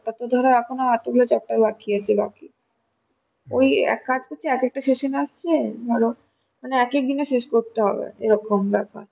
তারপর ধরো এখনো ধর এতগুলো chapter বাকি আছে বাকি ওই এক কাজ করছি এক একটা session আসছে ধর মানে এক একদিনে শেষ করতে হবে এরকম ব্যাপার